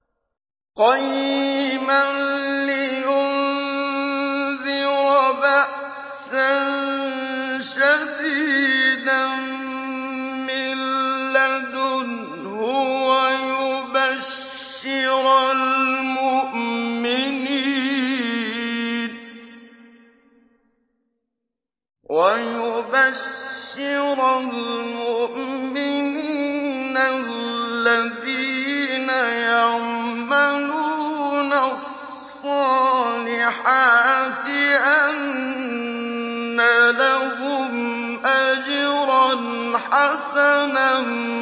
قَيِّمًا لِّيُنذِرَ بَأْسًا شَدِيدًا مِّن لَّدُنْهُ وَيُبَشِّرَ الْمُؤْمِنِينَ الَّذِينَ يَعْمَلُونَ الصَّالِحَاتِ أَنَّ لَهُمْ أَجْرًا حَسَنًا